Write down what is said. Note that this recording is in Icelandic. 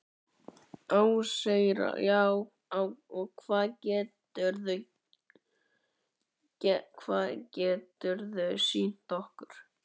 Ásgeir: Já, og hvað geturðu, hvað geturðu sýnt okkur?